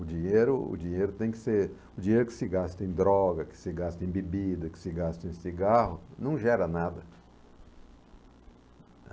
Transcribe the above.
O dinheiro o dinheiro tem que ser o dinheiro que se gasta em droga, que se gasta em bebida, que se gasta em cigarro, não gera nada.